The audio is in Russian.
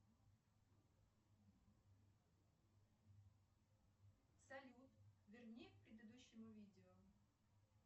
салют верни к предыдущему видео